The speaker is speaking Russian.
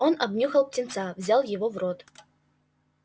он обнюхал птенца взял его в рот